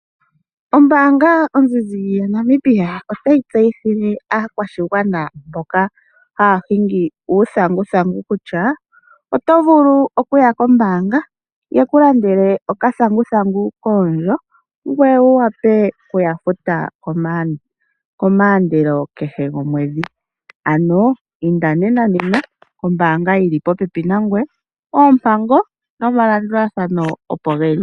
Ombaanga yoNedbank otayi tseyithile aakwashigwana mboka haya hingi uuthanguthangu kutya oto vulu kuya kombaanga ye kulandele okathanguthangu koondjo ngoye wukale ho yafutu kehe komusilo gomwedhi, ano inda nena oompango nomalandulathano opo geli.